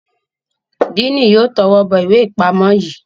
Diini yóò towó bó ìwé ipamọ yí.